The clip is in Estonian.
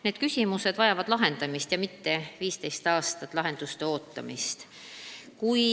Need küsimused vajavad lahendamist ja mitte 15 aastat lahenduste ootamist.